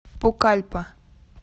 пукальпа